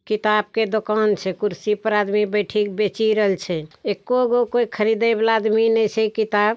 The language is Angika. किताब के दोकान छे। कुर्सी पर आदमी बैठिक बैचिरल छे। एको गो कोय खरीदे वाला आदमी नय छे किताब।